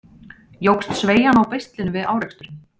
Jókst sveigjan á beislinu við áreksturinn?